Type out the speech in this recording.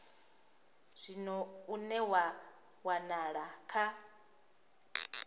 zwino une wa wanala kha